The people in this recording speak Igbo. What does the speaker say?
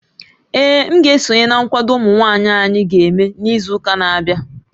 Ee, m ga-esonye na nkwado ụmụ nwaanyị anyị ga-eme n'izu ụka na-abịa